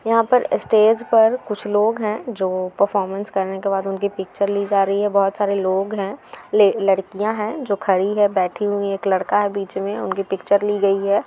यहाँ पर इस्टेज पर कुछ लोग हैं जो परफॉर्मेंस करने के बाद उनकी पिच्चर ली जा रही है। बहोत सारे लोग हैं लडकियाँ हैं जो खड़ी है बैठी हुई है। एक लड़का है बीच में उनकी पिच्चर ली गयी है।